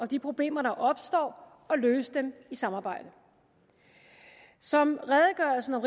de problemer der opstår og løse dem i samarbejde som redegørelsen om